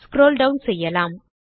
scroll down செய்யலாம்